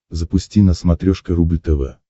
запусти на смотрешке рубль тв